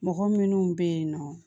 Mɔgɔ minnu bɛ yen nɔ